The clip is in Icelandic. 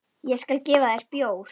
Ég skal gefa þér bjór.